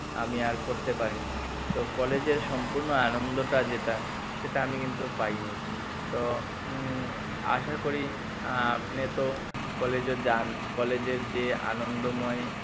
আমি আর করতে পারিনি তো কলেজের সম্পূর্ণ আনন্দটা যেটা সেটা আমি কিন্তু পাইনি তো উম আশাকরি আহ আপনি তো কলেজে যান কলেজের যে আনন্দময়